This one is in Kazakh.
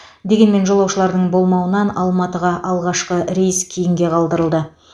дегенмен жолаушылардың болмауынан алматыға алғашқы рейс кейінге қалдырылды